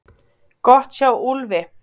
Gott hjá Úlfi!